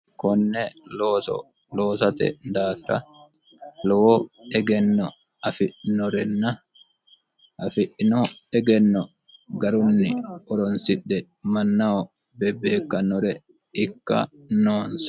konne looso loosate daafira lowo egenno afi'norenna afi'ino egenno garunni horonsidhe mannaho bebbeekkannore ikka noonse